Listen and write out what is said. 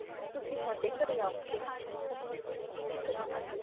ਤੁਸੀਂ ਸਾਡੇ ਘਰੇ ਆਓਗੇ ਥੋਨੂੰ ਅਸੀਂ shopping ਕਰਾਵਾਂਗੇ